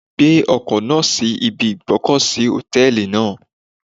Gbé ọkọ̀ náà sí ibi ìgb'ọ́kọ̀ sí Hòtẹ́lìì náà.